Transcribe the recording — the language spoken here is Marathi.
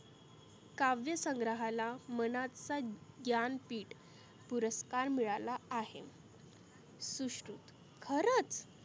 काव्य संग्राहाला मनाचा ज्ञान पिठ पुरस्कार मिळाला आहे. सुश्रु खरच?